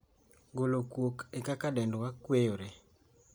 Golo kuok e kaka dendwa kweyore.